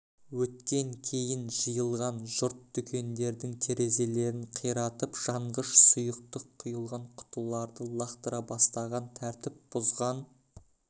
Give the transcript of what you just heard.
өткен кейін жиылған жұрт дүкендердің терезелерін қиратып жанғыш сұйықтық құйылған құтыларды лақтыра бастаған тәртіп бұзған